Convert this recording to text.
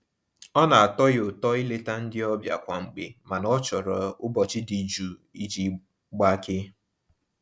Ọ na-atọ ya ụtọ ileta ndị ọbịa kwa mgbe mana ọ chọrọ ụbọchị dị jụụ iji gbakee.